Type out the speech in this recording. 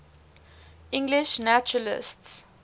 english naturalists